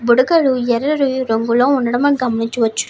బుడకలు యెర్రని రంగులో ఉండడం మనం గమనించవచ్చు.